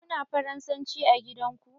Kuna faransanci a gidan ku?